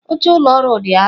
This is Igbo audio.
Oche ụlọ ọrụ dị arọ.